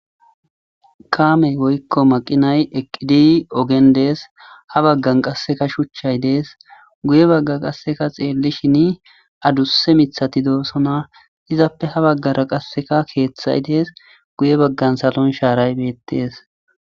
kaamey woykko maqinay eqqidi ogendees ha baggan qasseka shuchchay dees guye bagga qasseka xeellishin adusse mithati doosona izappe ha baggara qasseka keeththay dees guye baggan salon shaaray beettes